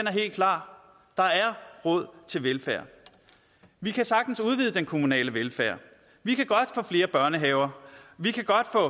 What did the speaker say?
er helt klar der er råd til velfærd vi kan sagtens udvide den kommunale velfærd vi kan godt få flere børnehaver vi kan godt få